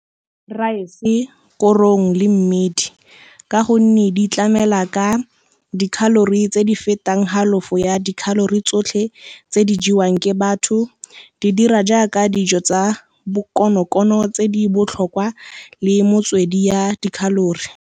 Rice, korong le mmidi ka gonne di tlamela ka di-calory tse di fetang halofo ya di-calory tsotlhe tse di jewang ke batho, di dira jaaka dijo tsa bokonokono tse di botlhokwa le motswedi ya di-calory.